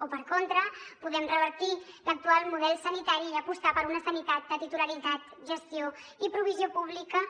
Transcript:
o per contra podem revertir l’actual model sanitari i apostar per una sanitat de titularitat gestió i provisió pública